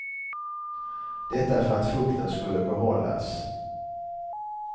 Detta för att fukten skulle behållas.